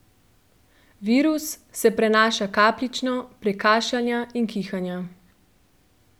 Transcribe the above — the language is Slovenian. Virus se prenaša kapljično, prek kašljanja in kihanja.